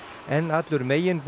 en allur